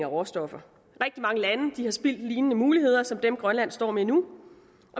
råstoffer rigtig mange lande har spildt muligheder som dem grønland står med nu